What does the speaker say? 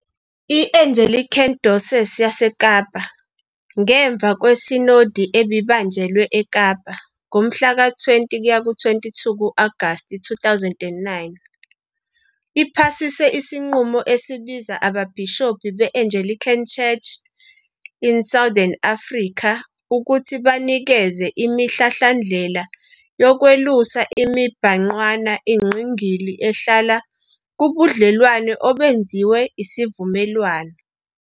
I-Anglican Diocese yaseKapa, ngemuva kweSinodi ebibanjelwe eKapa, ngomhlaka 20-22 Agasti 2009, iphasise isinqumo esibiza ababhishobhi be-Anglican Church in Southern Africa ukuthi banikeze imihlahlandlela yokwelusa imibhangqwana engqingili ehlala "kubudlelwano obenziwe isivumelwano".